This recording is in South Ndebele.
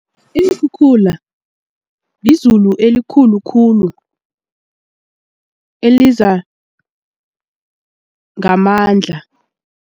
Iinkhukhula lizulu elikhulu khulu eliza ngamandla.